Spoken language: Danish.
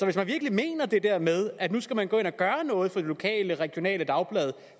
hvis man virkelig mener det der med at nu skal man gå ind og gøre noget for det lokale regionale dagblad